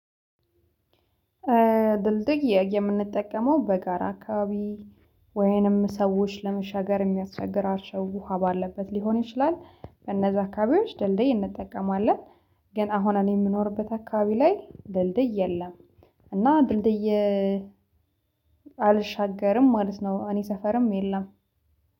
ድልድይ የምንጠቀመው በጋራ አካባቢ ወይንም ሰዎች ለመሻገር የሚያስቸግር አቸው ውሃ ባለበት ሊሆን ይችላል በነዛ አካባቢዎች ድልድይ እንጠቀማለን። ግን አሁን እኔ የምኖርበት አካባቢ ላይ ድልድይ የለም። እና ድልድይ አልሻገርም ማለት ነው። እኔ ሰፈርም የለም